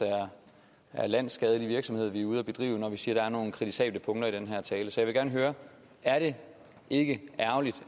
er landsskadelig virksomhed vi er ude at bedrive når vi siger er nogle kritisable punkter i den her tale så jeg vil gerne høre er det ikke ærgerligt